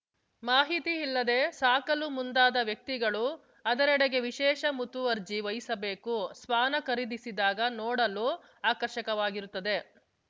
ಮಾಹಿತಿ ಇಲ್ಲದೇ ಸಾಕಲು ಮುಂದಾದ ವ್ಯಕ್ತಿಗಳು ಅದರೆಡೆಗೆ ವಿಶೇಷ ಮುತುವರ್ಜಿ ವಹಿಸಬೇಕು ಶ್ವಾನ ಖರೀದಿಸಿದಾಗ ನೋಡಲು ಆಕರ್ಷಕವಾಗಿರುತ್ತದೆ